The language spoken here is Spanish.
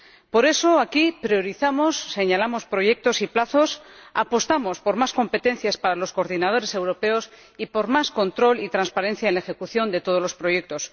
Por eso, aquí priorizamos, señalamos proyectos y plazos, apostamos por más competencias para los coordinadores europeos y por más control y transparencia en la ejecución de todos los proyectos.